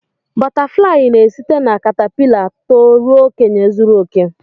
Bọtáfláyị n'esite na kàtápịla tó ruo okenye zuru oke